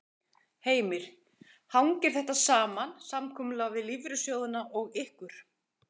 Heimir: Hangir þetta saman, samkomulag við lífeyrissjóðina og ykkur?